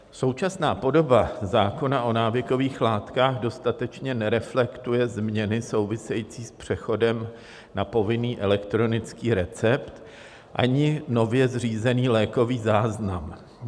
Současná podoba zákona o návykových látkách dostatečně nereflektuje změny související s přechodem na povinný elektronický recept ani nově zřízený lékový záznam.